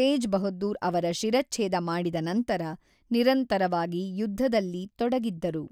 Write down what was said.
ತೇಜ್ ಬಹದ್ದೂರ್ ಅವರ ಶಿರಚ್ಛೇದ ಮಾಡಿದ ನಂತರ ನಿರಂತರವಾಗಿ ಯುದ್ಧದಲ್ಲಿ ತೊಡಗಿದ್ದರು.